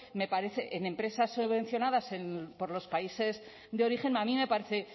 me parece en empresas subvencionadas por los países de origen a mí me parece